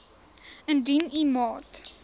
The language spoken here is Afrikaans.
indien u maat